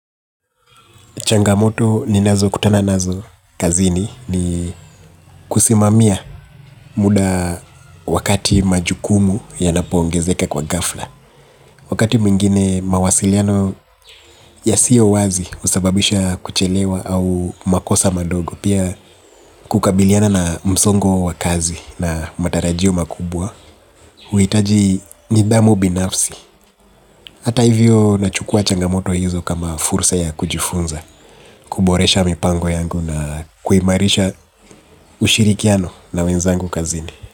Changamoto ni nazo kutana nazo kazini ni kusimamia muda wakati majukumu ya napoongezeka kwa ghafla. Wakati mwingine mawasiliano ya siyo wazi husababisha kuchelewa au makosa madogo. Pia kukabiliana na msongo wa kazi na matarajio makubwa. Huhitaji nidhamu binafsi. Hata hivyo nachukua changamoto hizo kama fursa ya kujifunza. Kuboresha mipango yangu na kuimarisha ushirikiano na wenzangu kazini.